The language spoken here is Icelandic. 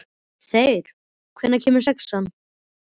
Þeyr, hvenær kemur sexan?